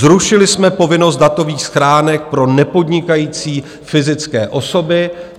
Zrušili jsme povinnost datových schránek pro nepodnikající fyzické osoby.